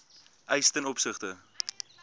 eis ten opsigte